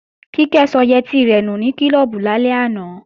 Kíkẹ́ sọ yẹtí rẹ̀ nù ní klọ́ọ̀bù lálẹ́ àná